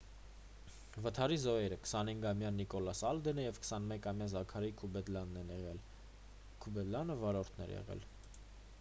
վթարի զոհերը 25-ամյա նիկոլաս ալդենը և 21-ամյա զաքարի քուդեբաքն են եղել քուդեբաքը վարորդն էր եղել